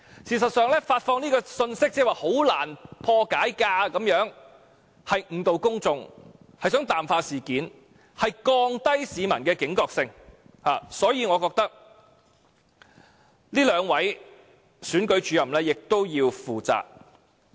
事實上，發放"很難破解"的信息是誤導公眾，想淡化事件，降低市民的警覺性，所以我覺得這兩位選舉主任亦要負責。